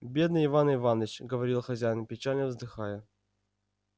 бедный иван иваныч говорил хозяин печально вздыхая